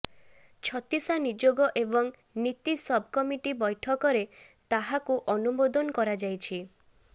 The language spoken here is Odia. ଛତିଶା ନିଯୋଗ ଏବଂ ନୀତି ସବ୍ କମିଟି ବୈଂକରେ ତାହାକୁ ଅନୁମୋଦନ କରାଯାଇଛି